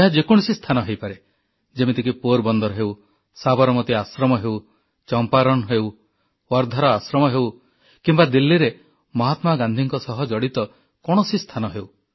ଏହା ଯେକୌଣସି ସ୍ଥାନ ହୋଇପାରେ ଯେମିତିକି ପୋରବନ୍ଦର ହେଉ ସାବରମତି ଆଶ୍ରମ ହେଉ ଚମ୍ପାରଣ ହେଉ ୱାର୍ଦ୍ଧାର ଆଶ୍ରମ ହେଉ କିମ୍ବା ଦିଲ୍ଲୀରେ ମହାତ୍ମା ଗାନ୍ଧୀଙ୍କ ସହ ଜଡ଼ିତ କୌଣସି ସ୍ଥାନ ହେଉ